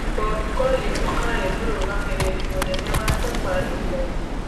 Bob Collymore aarĩ mũrũgamĩrĩri mũnene wa Safaricom.